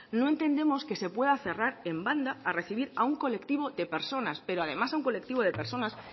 no entendemos que se pueda cerrar en banda a recibir a un colectivo de personas pero además a un colectivo de personas